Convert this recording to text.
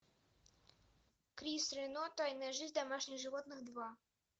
крис рено тайная жизнь домашних животных два